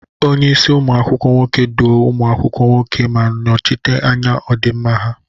Onye isi umu akwukwo nwoke, duo ụmụ akwụkwọ nwoke ma nọchite anya ọdịmma ha.